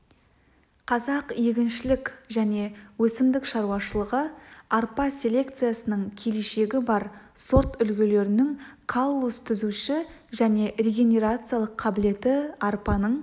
қазақ егіншілік және өсімдік шаруашылығы арпа селекциясының келешегі бар сорт үлгілерінің каллус түзуші және регенерациялық қабілеті арпаның